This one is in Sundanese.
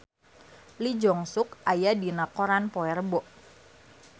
Lee Jeong Suk aya dina koran poe Rebo